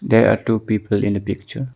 There are two people in the picture.